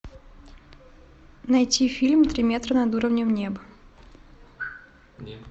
найти фильм три метра над уровнем неба